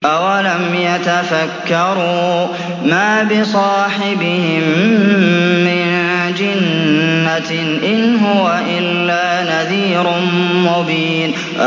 أَوَلَمْ يَتَفَكَّرُوا ۗ مَا بِصَاحِبِهِم مِّن جِنَّةٍ ۚ إِنْ هُوَ إِلَّا نَذِيرٌ مُّبِينٌ